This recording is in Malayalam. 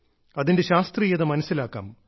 അതിന്റെ ശാസ്ത്രീയത മനസ്സിലാക്കാം